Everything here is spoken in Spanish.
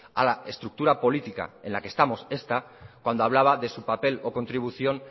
a la estructura política en la que estamos esta cuando hablaba de su papel o contribución